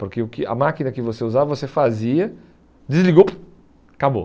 Porque o que a máquina que você usava, você fazia, desligou, acabou.